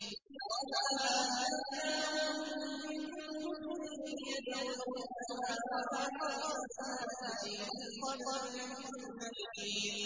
وَمَا آتَيْنَاهُم مِّن كُتُبٍ يَدْرُسُونَهَا ۖ وَمَا أَرْسَلْنَا إِلَيْهِمْ قَبْلَكَ مِن نَّذِيرٍ